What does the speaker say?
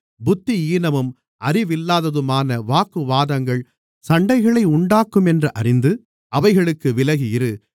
புத்தியீனமும் அறிவில்லாததுமான வாக்குவாதங்கள் சண்டைகளை உண்டாக்குமென்று அறிந்து அவைகளுக்கு விலகி இரு